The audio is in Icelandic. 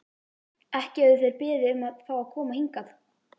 Ekki höfðu þeir beðið um að fá að koma hingað.